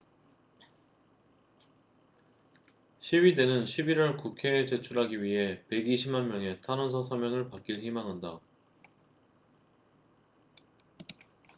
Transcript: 시위대는 11월 국회에 제출하기 위해 120만 명의 탄원서 서명을 받길 희망한다